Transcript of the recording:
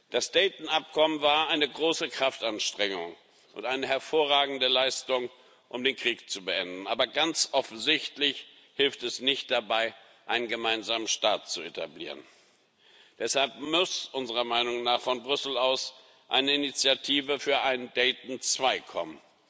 Das Dayton Abkommen war eine große Kraftanstrengung und eine hervorragende Leistung, um den Krieg zu beenden, aber ganz offensichtlich hilft es nicht dabei, einen gemeinsamen Staat zu etablieren. Deshalb muss unserer Meinung nach von Brüssel aus eine Initiative für ein Dayton II kommen.